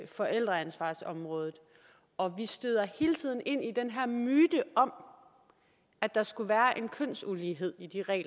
forældreansvarsområdet og vi støder hele tiden ind i den her myte om at der skulle være en kønsulighed i de regler